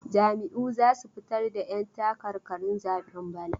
Jam'iyyu za su fitar da 'yantakarkarin zaben bana.